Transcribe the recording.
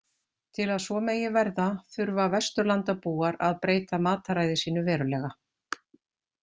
Til að svo megi verða þurfa Vesturlandabúar að breyta mataræði sínu verulega.